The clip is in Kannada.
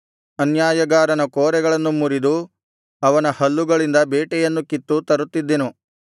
ಅನ್ಯಾಯಗಾರನ ಕೋರೆಗಳನ್ನು ಮುರಿದು ಅವನ ಹಲ್ಲುಗಳಿಂದ ಬೇಟೆಯನ್ನು ಕಿತ್ತು ತರುತ್ತಿದ್ದೆನು